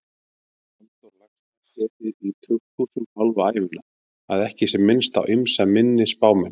Halldór Laxness setið í tukthúsum hálfa ævina, að ekki sé minnst á ýmsa minni spámenn.